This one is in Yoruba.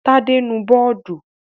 Tádé nu bọ́ọ́dù.